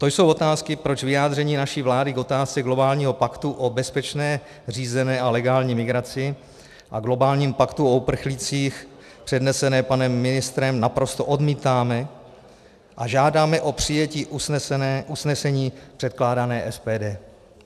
To jsou otázky, proč vyjádření naší vlády k otázce globálního paktu o bezpečné, řízené a legální migraci a globálnímu paktu o uprchlících přednesené panem ministrem naprosto odmítáme a žádáme o přijetí usnesení předkládaného SPD.